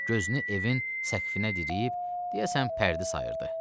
Gözünü evin səqfinə diriyib, deyəsən pərdi sayırdı.